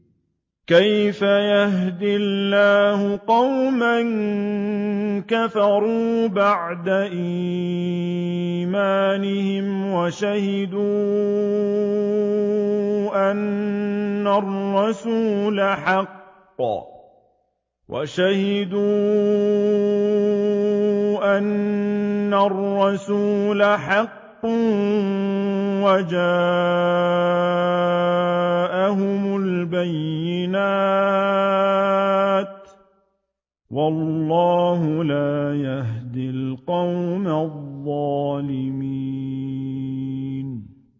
كَيْفَ يَهْدِي اللَّهُ قَوْمًا كَفَرُوا بَعْدَ إِيمَانِهِمْ وَشَهِدُوا أَنَّ الرَّسُولَ حَقٌّ وَجَاءَهُمُ الْبَيِّنَاتُ ۚ وَاللَّهُ لَا يَهْدِي الْقَوْمَ الظَّالِمِينَ